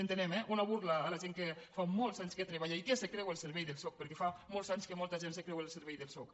entenem eh una burla a la gent que fa molts anys que treballa i que es creu el servei del soc perquè fa molts anys que molta gent es creu el servei del soc